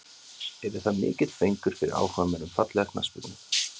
Yrði það mikill fengur fyrir áhugamenn um fallega knattspyrnu.